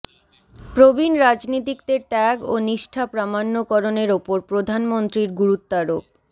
প্রবীণ রাজনীতিকদের ত্যাগ ও নিষ্ঠা প্রামাণ্যকরণের ওপর প্রধানমন্ত্রীর গুরুত্বারোপ